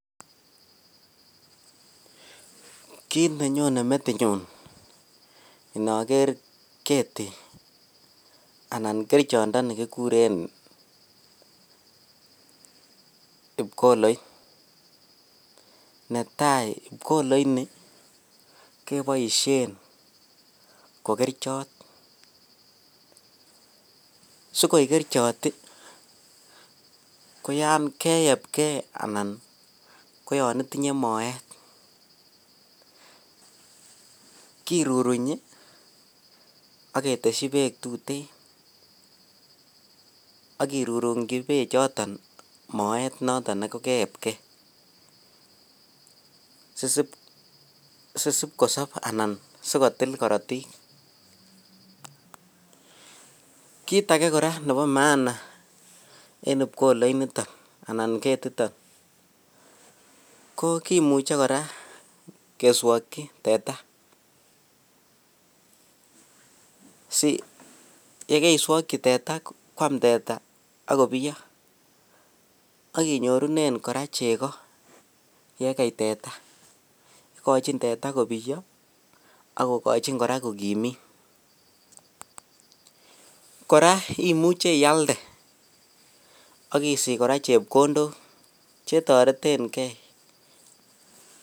Kiit nenyone metinyun inoker ketii anan kerichondoni kikuren pkoloit, netai pkoloini keboishen ko kerichot sikoik kerichot ko yoon keyebke anan ko yon itinye moet kirurunyi ak keteshi Beek tuten ak kirurungyi bechoton moet noton nekokeebke sisipkosob anan sikotil korotik, kiit akee kora nebo maana en pkoloit niton anan ketiton ko kimuche kora keswokyi teta siyekoiswokyi teta kwaam teta ak kobiyo ak inyorunen kora chekoo yekei teta, ikochin teta kobiyo ak kokochin kora kokimiit, kora imuche ialde ak isich kora chepkondok chetoreteng'e.